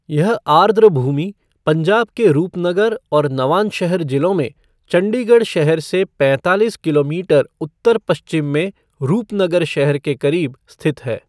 यह आर्द्रभूमि पंजाब के रूपनगर और नवांशहर जिलों में चंडीगढ़ शहर से पैंतालीस किलोमीटर उत्तर पश्चिम में रूपनगर शहर के करीब स्थित है।